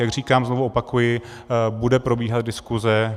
Jak říkám, znovu opakuji, bude probíhat diskuse.